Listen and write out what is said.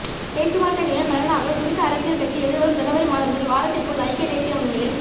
பேச்சுவார்த்தைகளின் பலனாக குறித்த அரசியல் கட்சி எதிர்வரும் ஜனவரி மாதம் முதல் வாரத்திற்குள் ஐக்கிய தேசிய முன்னணியில்